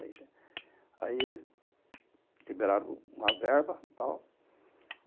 Aí liberaram uma verba e tal.